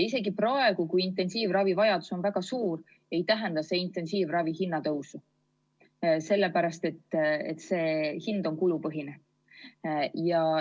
Isegi praegu, kui intensiivravivajadus on väga suur, ei tähenda see intensiivravi hinna tõusu, sellepärast et see hind on kulupõhine.